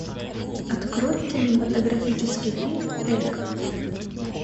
открой кинематографический фильм элька